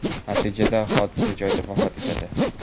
Natijada hodisa joyida vafot etadi.